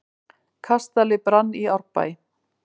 Kastali brann í Árbæ